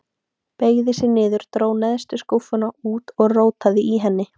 Beygði sig niður, dró neðstu skúffuna út og rótaði í henni.